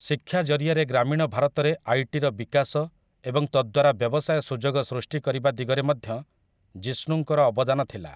ଶିକ୍ଷା ଜରିଆରେ ଗ୍ରାମୀଣ ଭାରତରେ ଆଇଟିର ବିକାଶ ଏବଂ ତଦ୍ଦ୍ୱାରା ବ୍ୟବସାୟ ସୁଯୋଗ ସୃଷ୍ଟି କରିବା ଦିଗରେ ମଧ୍ୟ ଜିଷ୍ଣୁଙ୍କର ଅବଦାନ ଥିଲା ।